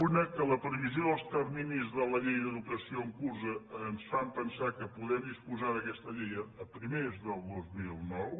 una que la previsió dels terminis de la llei d’educació en curs ens fan pensar que podem disposar d’aquesta llei a primers del dos mil nou